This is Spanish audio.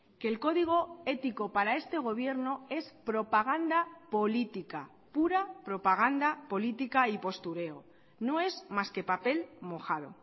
que el código ético para este gobierno es propaganda política pura propaganda política y postureo no es más que papel mojado